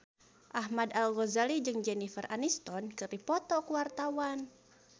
Ahmad Al-Ghazali jeung Jennifer Aniston keur dipoto ku wartawan